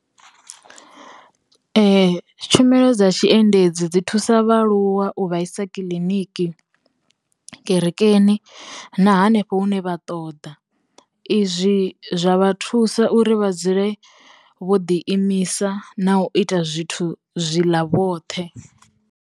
Tshumelo dza tshi endedzi dzi thusa vhaaluwa u vhaisa kiḽiniki, kerekeni, na hanefho hune vha ṱoḓa. Izwi zwa vha thusa uri vha dzule vho ḓi imisa na u ita zwithu zwi ḽa vhoṱhe.